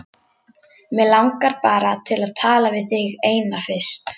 Mig langar bara til að tala við þig eina fyrst.